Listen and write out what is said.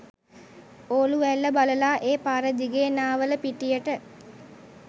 ඕලු ඇල්ල බලලා ඒ පාරදිගේ නාවලපිටියට